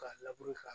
K'a labure k'a